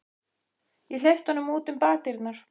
Ég hleypti honum út um bakdyrnar.